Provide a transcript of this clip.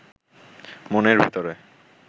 মনের ভেতরে